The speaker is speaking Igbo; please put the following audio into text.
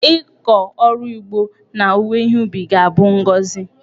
Ịkọ ọrụ ugbo na owuwe ihe ubi ga-abụ bụ ngọzị.